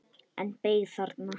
En beið þarna.